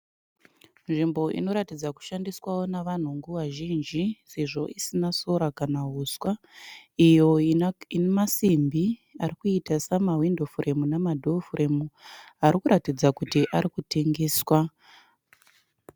Nzvimbo inoratidza kushandiswawo navanhu nguva zhinji sezvo isina sora kana huswa. Iyo ine masimbi arikuita sema window frame nemadoor frame arikuratidza kuti arikutengeswa.